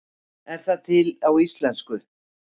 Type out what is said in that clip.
Er það til á íslensku?